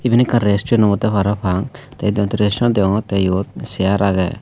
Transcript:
iben ekkan restaurant obode parapang te ekkan resturant degongotte iyot chair aage.